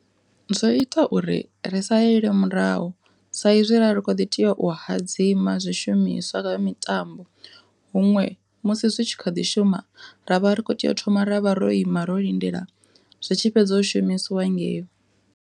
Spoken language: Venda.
Zwo ita uri ri salele murahu, saizwi ri kho ḓi tea u hadzima zwishumiswa zwa mitambo, huṅwe musi zwi tshi kha ḓi shuma ravha ri kho tea u thoma ra vha ro ima ro lindela zwi tshi fhedza u shumisiwa ngei.